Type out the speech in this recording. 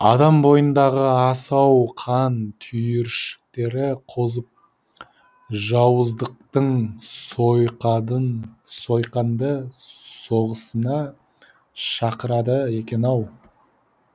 адам бойындағы асау қан түйіршіктері қозып жауыздықтың сойқанды соғысына шақырады екен ау